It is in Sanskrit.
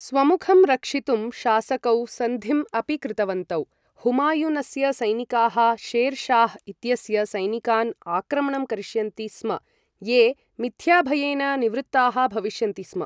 स्वमुखं रक्षितुं शासकौ सन्धिम् अपि कृतवन्तौ हुमायूनस्य सैनिकाः शेर् शाह् इत्यस्य सैनिकान् आक्रमणं करिष्यन्ति स्म ये मिथ्याभयेन निवृत्ताः भविष्यन्ति स्म।